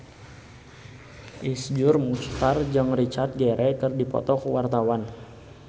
Iszur Muchtar jeung Richard Gere keur dipoto ku wartawan